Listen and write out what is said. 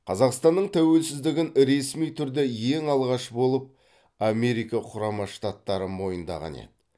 қазақстанның тәуелсіздігін ресми түрде ең алғаш болып америка құрама штаттары мойындаған еді